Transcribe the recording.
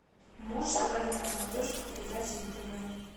можешь показать на смотрешке передачу нтв